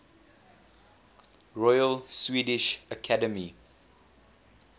royal swedish academy